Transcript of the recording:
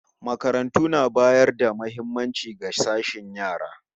Makarantu na bayar da muhimmaci ga sashen yara